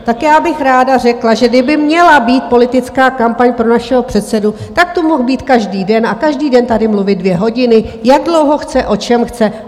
Tak já bych ráda řekla, že kdyby měla být politická kampaň pro našeho předsedu, tak tu mohl být každý den a každý den tady mluvit dvě hodiny, jak dlouho chce, o čem chce.